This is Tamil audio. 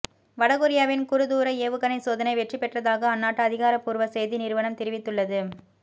வடகொரியாவின் குறுந்தூர ஏவுகணை சோதனை வெற்றி பெற்றதாக அந்நாட்டு அதிகாரப்பூர்வ செய்தி நிறுவனம் தெரிவித்துள்ளது